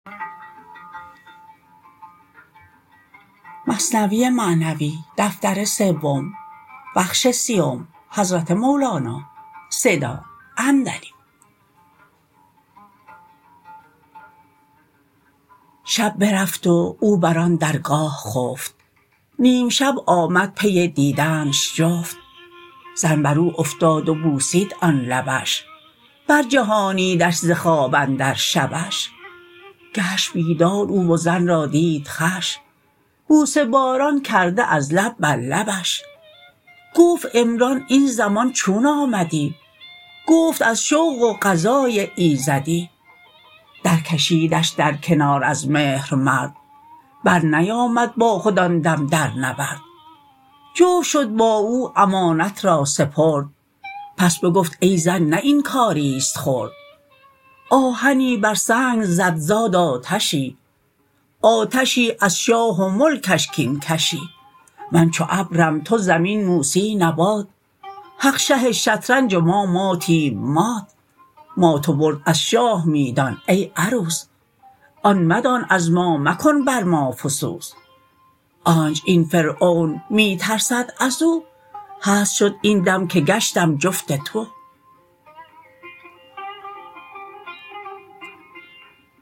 شب برفت و او بر آن درگاه خفت نیم شب آمد پی دیدنش جفت زن برو افتاد و بوسید آن لبش بر جهانیدش ز خواب اندر شبش گشت بیدار او و زن را دید خوش بوسه باران کرده از لب بر لبش گفت عمران این زمان چون آمدی گفت از شوق و قضای ایزدی در کشیدش در کنار از مهر مرد بر نیامد با خود آن دم در نبرد جفت شد با او امانت را سپرد پس بگفت ای زن نه این کاریست خرد آهنی بر سنگ زد زاد آتشی آتشی از شاه و ملکش کین کشی من چو ابرم تو زمین موسی نبات حق شه شطرنج و ما ماتیم مات مات و برد از شاه می دان ای عروس آن مدان از ما مکن بر ما فسوس آنچ این فرعون می ترسد ازو هست شد این دم که گشتم جفت تو